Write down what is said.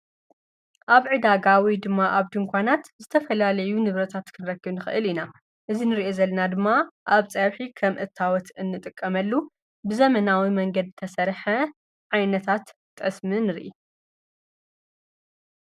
አብ ዕዳጋ ወይ ድማ አብ ድንኳናት ዝተፈላለዩ ንብረታት ክንረክብ ንኽእል ኢና። እዚ እንሪኦ ዘለና ድማ አብ ፀብሒ ከምእታወት እንጥቀመሉ ብዘመናዊ መንገዲ ዝተሰርሐ ዓይነታት ጠስሚ ንሪኢ።